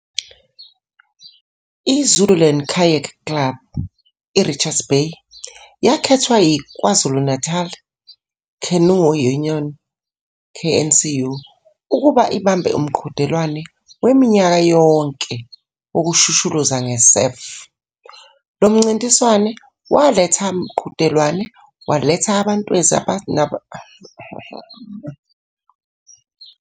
I-Zululand Kayak Club, i-Richards Bay, yakhethwa yi-KwaZulu Natal Canoe Union, KNCU, ukuba ibambe umqhudelwano waminyaka yonke wokushushuluza nge-surf. Lo mncintiswano waletha mqhudelwano waletha.